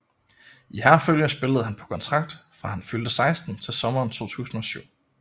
I Herfølge spillede han på kontrakt fra han fyldte 16 til sommeren 2007